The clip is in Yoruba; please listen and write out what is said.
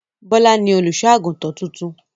Bọ́lá ni olùṣọ́-àgùntàn tuntun.